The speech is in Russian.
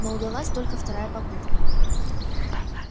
но удалась только вторая попытка